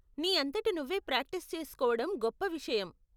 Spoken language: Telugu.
నీ అంతట నువ్వే ప్రాక్టీస్ చేసుకోవడం గొప్ప విషయం.